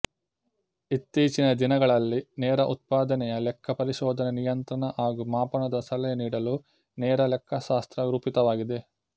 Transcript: ಇತ್ತೀಚಿನ ದಿನಗಳಲ್ಲಿ ನೇರ ಉತ್ಪಾದನೆಯ ಲೆಕ್ಕ ಪರಿಶೋಧನೆ ನಿಯಂತ್ರಣ ಹಾಗೂ ಮಾಪನದ ಸಲಹೆ ನೀಡಲು ನೇರ ಲೆಕ್ಕಶಾಸ್ತ್ರ ರೂಪಿತವಾಗಿದೆ